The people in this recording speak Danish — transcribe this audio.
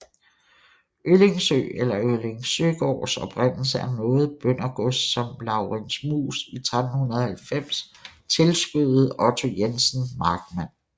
Øllingsøe eller Øllingsøegaards oprindelse er noget bøndergods som Laurens Muus i 1390 tilskødede Otto Jensen Markmand